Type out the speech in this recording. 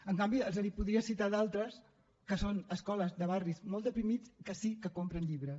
en canvi els podria citar d’altres que són escoles de barris molt deprimits que sí que compren llibres